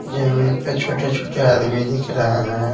जमीन पर छोटे-छोटे आदमी दिख रहे हैं।